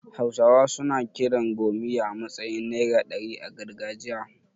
Hausawa suna kiran 'gomiya' a matsayin naira ɗari a gargajiya.